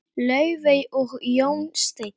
Laufey og Jón Steinn.